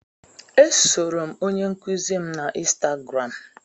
E soro m onye nkuzi m na ịnstagram.